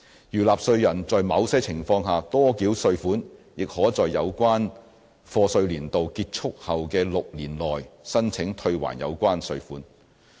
如納稅人在某些情況下多繳稅款，亦可在有關課稅年度結束後的6年內申請退還有關款項。